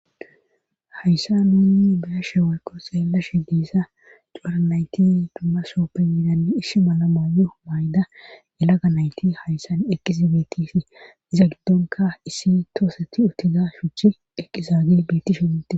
hayssa nunni beyashe woyko xellashe diissa cuara nayti dumma sooppe midanne ishi malamayo mayda yelaga nayti hayssan eqizabetifi iza giddonka issi tooseti utida shuchi eqizaage briitti shinte